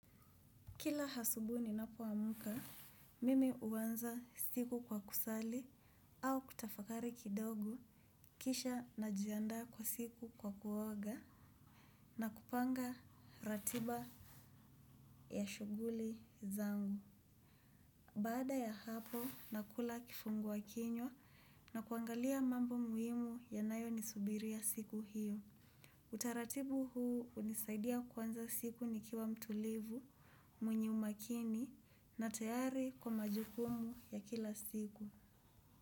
Kila asubuhi ninapoamka, mimi huanza siku kwa kusali au kutafakari kidogo kisha najiandaa kwa siku kwa kuoga na kupanga ratiba ya shuguli zangu. Baada ya hapo nakula kifungua kinywa na kuangalia mambo muhimu yanayonisubiria siku hiyo. Utaratibu huu hunisaidia kuanza siku nikiwa mtulivu, mwenye umakini na tayari kwa majukumu ya kila siku.